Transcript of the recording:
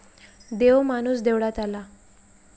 देव माणूस देवळात आला.